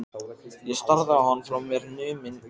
Ég starði á hann, frá mér numin.